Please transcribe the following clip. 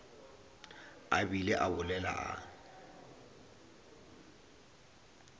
a bile a bolela a